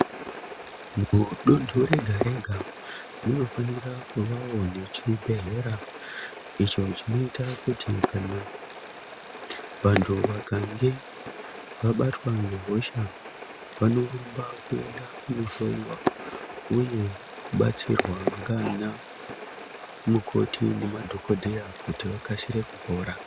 Mudonto mega mega munofanirawo kuva nechibhedlera icho chinoita kuti kana vantu vakange vabatwa ngehosha vanorumba kuenda kunohloriwa uye kubatsirwa nana mukoti nema dhogodheya kuti vakasire kupora.